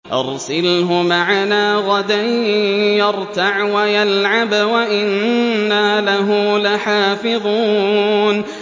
أَرْسِلْهُ مَعَنَا غَدًا يَرْتَعْ وَيَلْعَبْ وَإِنَّا لَهُ لَحَافِظُونَ